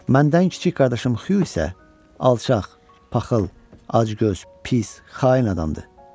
Məndən kiçik qardaşım Xyu isə alçaq, paxıl, acgöz, pis, xain adamdır.